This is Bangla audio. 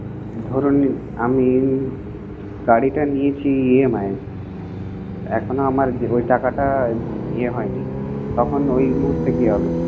ধরুন আমি গাড়িটা নিয়েছি EMI এ এখনো আমার ওই টাকাটা ইয়ে হয় নি, তখন ওই মুহূর্তে কি হবে?